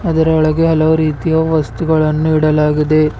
ಇದರ ಒಳಗೆ ಹಲವು ರೀತಿಯ ವಸ್ತುಗಳನ್ನು ಇಡಲಾಗಿದೆ.